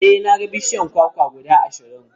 E, na ga bishiyun kwakwa guda ashirin.